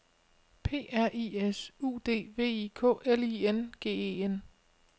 P R I S U D V I K L I N G E N